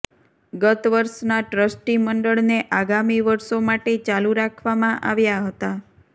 ગત વર્ષના ટ્રસ્ટી મંડળને આગામી વર્ષો માટે ચાલુ રાખવામાં આવ્યા હતા